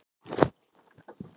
Sölvi: Er þetta hættuleg baktería?